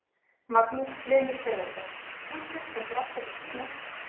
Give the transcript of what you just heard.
Magnús Hlynur Hreiðarsson: Tjúttið stendur alltaf fyrir sínu?